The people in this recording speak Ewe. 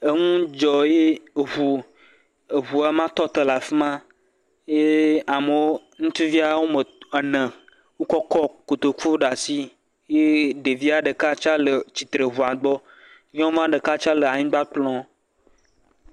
Eŋu dzɔ ye ŋu eŋua ma tɔ tɔ le afi ma ye amewo, ŋutsuvia wome e ene wokɔ kɔ kotoku ɖe asi ye ɖevia ɖeka tsɛ le tsitre le ŋua gbɔ, nyɔnua ɖeka tsɛ le anyigba kplɔm.